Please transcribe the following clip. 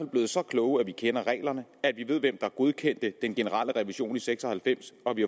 blevet så kloge at vi kender reglerne og at vi ved hvem der godkendte den generelle revision i nitten seks og halvfems og at vi